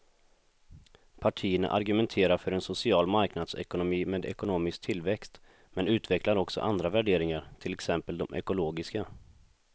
Partierna argumenterar för en social marknadsekonomi med ekonomisk tillväxt men utvecklar också andra värderingar, till exempel de ekologiska.